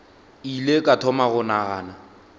ile ka thoma go nagana